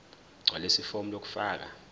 gqwalisa ifomu lokufaka